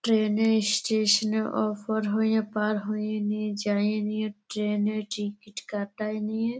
train এ ইস-স্টেশন -এ ওপার হয়ে পার হয়ে নিয়ে যায় নিয়ে ট্রেন - এ টিকিট কাটায় নিয়ে --